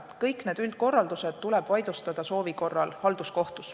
Kõik üldkorraldused tuleb soovi korral vaidlustada halduskohtus.